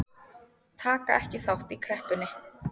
Taka ekki þátt í kreppunni